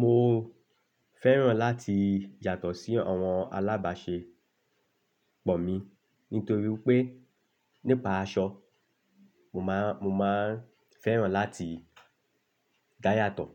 Mo fẹ́ràn láti yàtọ̀ sí àwọn alábàáṣepọ̀ mi nítorí pé nípa aṣọ, mo máa, mo máa n fẹ́ràn láti dá yàtọ̀.